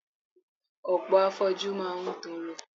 Ọ̀pọ̀ afoju máa ń tọrọ.